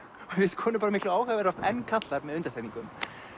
finnst konur miklu áhugaverðari en karlar með undantekningum